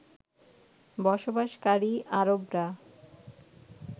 বসবাসকারী আরবরা